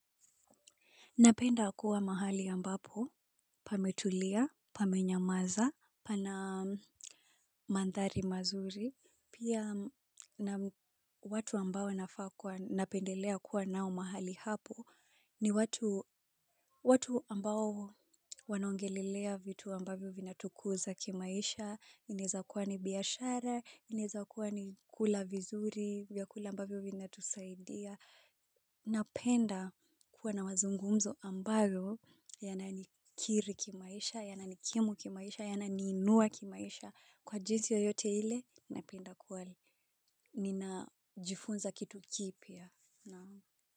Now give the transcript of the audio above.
Napenda kuwa mahali ambapo, pametulia, pamenyamaza, pana mandhari mazuri. Pia watu ambao nafaa kuwa, napendelea kuwa nao mahali hapo, ni watu ambao wanongelelea vitu ambavyo vina tukuza kimaisha. Inezakuwa ni biashara, inezakuwa ni kula vizuri, vyakula ambavyo vinatusaidia. Napenda kuwa na wazungumzo ambayo yanani kiri kimaisha, yanani kimu kimaisha, yanani inua kimaisha. Kwa jinsi yoyote ile, napenda kuwa nina jifunza kitu kipya.